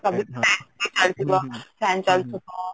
ac ଚାଲିଥିବ fan ଚଳିଥିବା